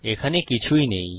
এখানে কিছুই নেই